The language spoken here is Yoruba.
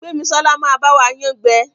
Gbemisola má ba wa yán gbé.